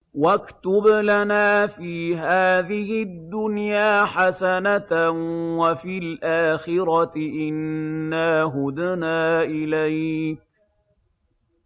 ۞ وَاكْتُبْ لَنَا فِي هَٰذِهِ الدُّنْيَا حَسَنَةً وَفِي الْآخِرَةِ إِنَّا هُدْنَا إِلَيْكَ ۚ